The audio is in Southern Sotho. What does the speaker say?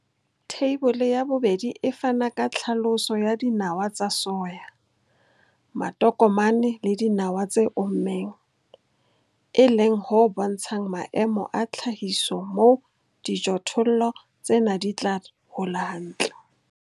Theibole ya 2 e fana ka tlhaloso ya dinawa tsa soya, matokomane le dinawa tse ommeng, e leng ho bontshang maemo a tlhahiso moo dijothollo tsena di tla hola hantle.